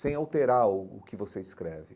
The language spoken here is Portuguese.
Sem alterar o o que você escreve.